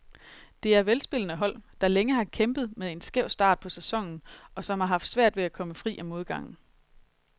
Det er velspillende hold, der længe har kæmpet med en skæv start på sæsonen, og som har haft svært ved at komme fri af modgangen.